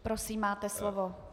Prosím, máte slovo.